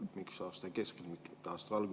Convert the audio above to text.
Miks aasta keskel, mitte aasta algul?